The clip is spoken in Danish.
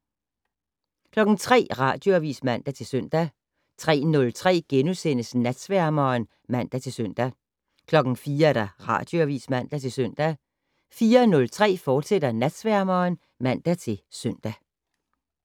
03:00: Radioavis (man-søn) 03:03: Natsværmeren *(man-søn) 04:00: Radioavis (man-søn) 04:03: Natsværmeren, fortsat (man-søn)